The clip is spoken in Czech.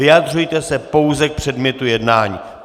Vyjadřujte se pouze k předmětu jednání!